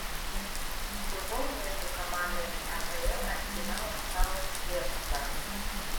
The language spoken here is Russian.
футбол между командами апл арсенал саутгемптон